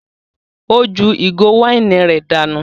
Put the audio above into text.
Ó ju ìgò wáìnì rẹ̀ dànù.